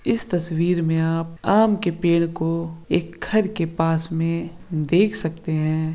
इस तस्वीर में आप एक आम के पेड़ को एक घर के पास मे देख सकते है।